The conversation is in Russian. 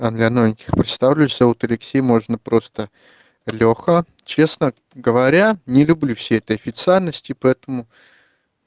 а для новеньких представлюсь зовут алексей можно просто лёха честно говоря не люблю всей этой официальности поэтому